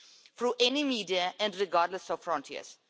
through any media and regardless of frontiers.